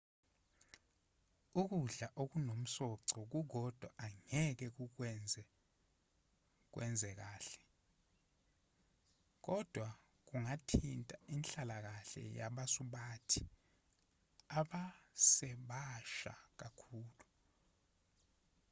ukudla okunomsoco kukodwa angeke kukwenze wenze kahle kodwa kungathinta inhlalakahle yabasubathi abasebasha kakhulu